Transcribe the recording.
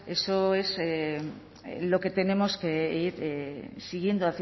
eso es lo que tenemos que ir siguiendo